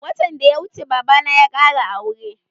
Watan da ya wuce babana ya ƙara aure.